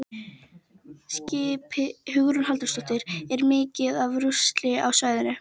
Hugrún Halldórsdóttir: Er mikið af rusli á svæðinu?